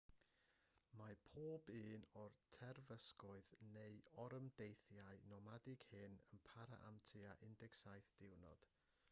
mae pob un o'r terfysgoedd neu orymdeithiau nomadig hyn yn para am tua 17 diwrnod